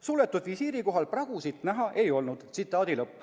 Suletud visiiri korral pragusid näha ei olnud.